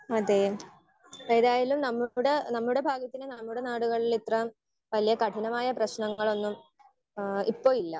Speaker 1 അതെ ഏതായാലും നമ്മുടെ നമ്മുടെ ഭാഗ്യത്തിന് നമ്മുടെ നാടുകളിൽ ഇത്രവല്യേ കഠിനമായ പ്രശ്നങ്ങളൊന്നും ഏഹ് ഇപ്പൊ ഇല്ല.